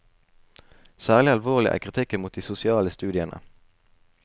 Særlig alvorlig er kritikken mot de sosiale studiene.